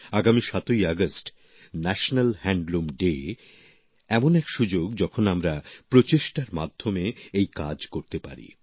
আগামী ৭ই August national handloom day এমন এক সুযোগ যখন আমরা সম্মিলিত প্রচেষ্টার মাধ্যমে এই কাজ করতে পারি